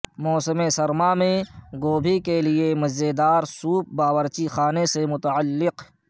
موسم سرما میں گوبھی کے لئے مزیدار سوپ باورچی خانے سے متعلق